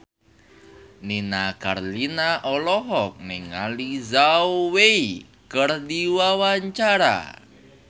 Nini Carlina olohok ningali Zhao Wei keur diwawancara